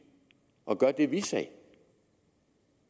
og gør det vi sagde